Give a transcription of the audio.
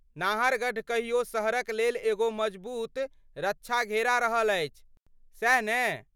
नाहरगढ़ कहियो शहरक लेल एगो मजबूत रक्षा घेरा रहल अछि, सैह ने?